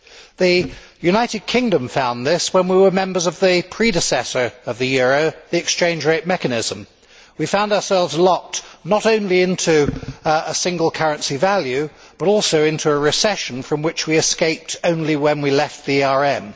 The United Kingdom found this when we were members of the predecessor of the euro, the Exchange Rate Mechanism. We found ourselves locked not only into a single currency value, but also into a recession from which we escaped only when we left the ERM.